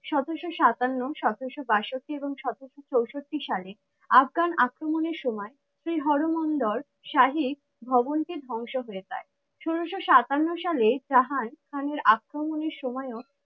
সতেরোশো সাতান্ন সতেরোশো বাষট্টি এবং সতেরোশো চৌষট্টি সালে আফগান আক্রমণের সময় সেই হরমন্দর শাহী ভবন টি ধ্বংস হয়ে যায়। ষোলোশো সাতান্ন সালে জাহান খানের আক্রমণের সময়ও